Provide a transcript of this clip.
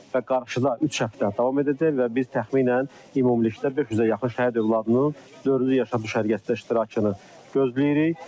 Və qarşıda üç həftə davam edəcək və biz təxminən ümumilikdə 500-ə yaxın şəhid övladının dördüncü Yaşad düşərgəsində iştirakını gözləyirik.